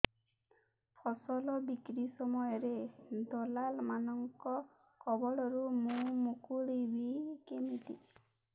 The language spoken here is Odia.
ଫସଲ ବିକ୍ରୀ ସମୟରେ ଦଲାଲ୍ ମାନଙ୍କ କବଳରୁ ମୁଁ ମୁକୁଳିଵି କେମିତି